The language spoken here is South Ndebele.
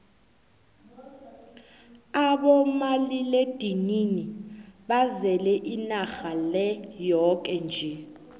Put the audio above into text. abomaliledinini bazele inarha le yoke nje